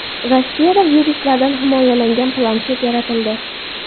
Rossiyada viruslardan himoyalangan planshet yaratildi.